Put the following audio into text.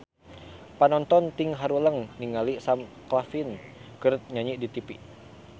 Panonton ting haruleng ningali Sam Claflin keur nyanyi di tipi